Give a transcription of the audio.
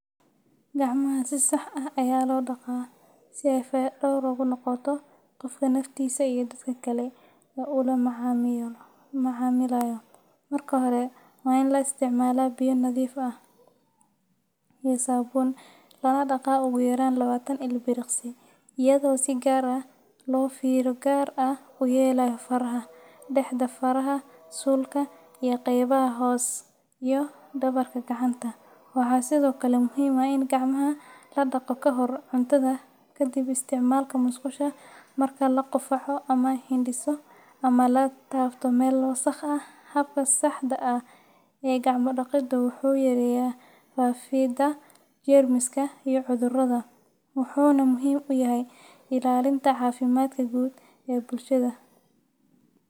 Gacmaha si sax ah ayaa loo dhaqaa si ay faya-dhowr ugu noqoto qofka naftiisa iyo dadka kale ee uu la macaamilayo. Marka hore, waa in la isticmaalaa biyo nadiif ah iyo saabuun, lana dhaqaa ugu yaraan lawatan ilbiriqsi, iyadoo si gaar ah loo fiiro gaar ah u yeelayo faraha, dhexda faraha, suulka, iyo qaybaha hoos iyo dhabarka gacanta. Waxaa sidoo kale muhiim ah in gacmaha la dhaqdo ka hor cuntada, ka dib isticmaalka musqusha, marka la qufaco ama hindhiso, ama la taabto meel wasakh ah. Habka saxda ah ee gacmo-dhaqidu wuxuu yareeyaa faafidda jeermiska iyo cudurrada, wuxuuna muhiim u yahay ilaalinta caafimaadka guud ee bulshada.